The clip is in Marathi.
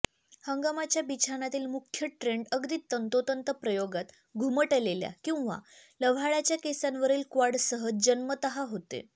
हंगामाच्या बिछानातील मुख्य ट्रेन्ड अगदी तंतोतंत प्रयोगात घुमटलेल्या किंवा लव्हाळ्याच्या केसांवरील क्वाडसह जन्मतः होते